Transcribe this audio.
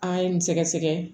An ye nin sɛgɛsɛgɛ